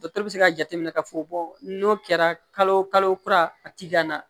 Dɔtɛriw bɛ se ka jateminɛ k'a fɔ n'o kɛra kalo kalo kura a ti ganna